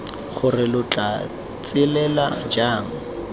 gore lo tla tswelela jang